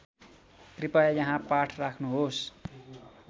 कृपया यहाँ पाठ राख्नुहोस्